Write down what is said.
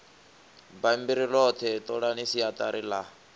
bammbiri ḽoṱhe ṱolani siaṱari ḽa